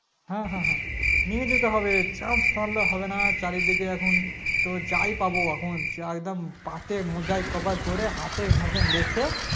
হ্যাঁ হ্যাঁ হ্যাঁ নিয়ে যেতে হবে Chanace ছাড়লে হবে না চারিদিকে এখন তোর যাই পাব এখন একদম পা তে মোজায় cover করে হাতে ফাতে লিখে